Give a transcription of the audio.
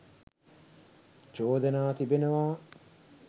චෝදනා තිබෙනවා.